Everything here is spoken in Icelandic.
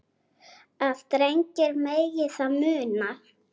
að drengir megi það muna